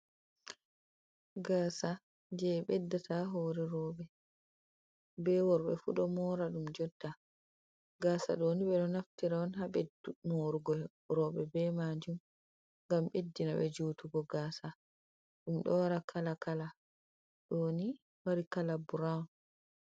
Gaasa je beddata ha hoore rouɓe, be worɓe fu ɗo moora ɗum jotta. Gaasa ɗoni ɓe ɗo naftira on ha ɓedd moorugo rouɓe be maajum ngam ɓeddinaɓe juutugo gaasa .Ɗum ɗo wara kala kala, ɗo ni waari kalaa burawun.